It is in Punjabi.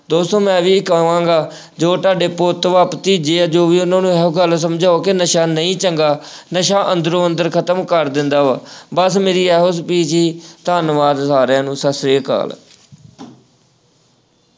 ਦੋਸਤੋ ਮੈਂ ਵੀ ਇਹੀ ਕਹਾਂਗਾ, ਜੋ ਤੁਹਾਡੇ ਪੁੱਤ ਵਾ, ਭਤੀਜੇ ਆ ਜੋ ਵੀ ਆ ਉਹਨਾਂ ਨੂੰ ਇਹੋ ਗੱਲ ਸਮਝਾਓ ਕਿ ਨਸ਼ਾ ਨਹੀਂ ਚੰਗਾ, ਨਸ਼ਾ ਅੰਦਰੋ- ਅੰਦਰ ਖ਼ਤਮ ਕਰ ਦਿੰਦਾ ਵਾ, ਬੱਸ ਮੇਰੀ ਇਹੋ speech ਸੀ। ਧੰਨਵਾਦ ਸਾਰਿਆਂ ਨੂੰ ਸੱਤ ਸ਼੍ਰੀ ਅਕਾਲ।